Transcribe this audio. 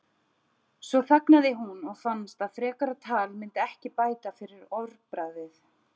Svo þagnaði hún og fannst að frekara tal myndi ekki bæta fyrir orðbragðið.